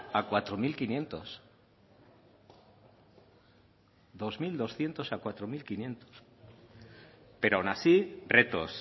a lau mila bostehun pero aun así retos